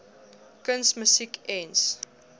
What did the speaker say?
kuns musiek ens